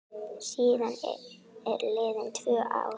Síðan eru liðin tvö ár.